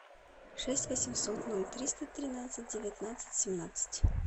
шесть восемьсот ноль триста тринадцать девятнадцать семнадцать